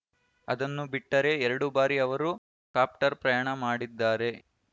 ಅದನ್ನು ಬಿಟ್ಟರೆ ಎರಡು ಬಾರಿ ಅವರು ಕಾಪ್ಟರ್‌ ಪ್ರಯಾಣ ಮಾಡಿದ್ದಾರೆ